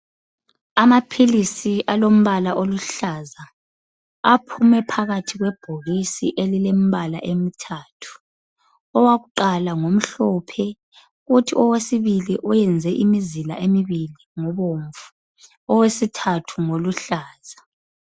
Amaphilisi alompala oluhlaza aphume phakathi kwebhokisi elilompala emithathu. Owakuqala ngomhlophe uthi owesibili owenze imizila emibili ngobomvu, owesithathu ngoluhlaza.